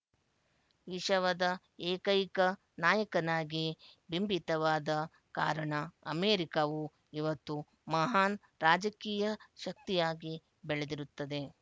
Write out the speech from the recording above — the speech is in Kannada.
ವಿಶವದ ಏಕೈಕ ನಾಯಕನಾಗಿ ಬಿಂಬಿತವಾದ ಕಾರಣ ಅಮೇರಿಕಾವು ಇವತ್ತು ಮಹಾನ್ ರಾಜಕೀಯ ಶಕ್ತಿಯಾಗಿ ಬೆಳದಿರುತ್ತದೆ